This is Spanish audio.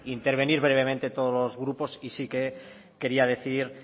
intervenir brevemente todos los grupos y sí que quería decir